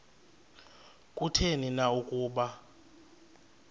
kutheni na ukuba